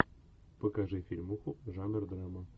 покажи фильмуху жанр драма